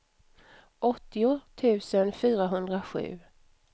åttio tusen fyrahundrasju